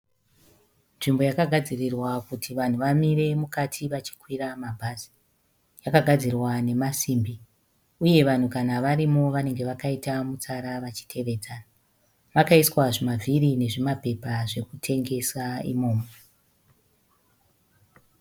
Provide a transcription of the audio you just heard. Nzvimbo yakagadzirirwa kuti vanhu vamire mukati vachikwira mabhazi . Yakagadzirwa nemasimbi, uye kana vanhu varimo vanenge vakaita mutsara vachitevedzana . Pakaiswa zvimavhiri nezvimapepa zvekutengesa imomo.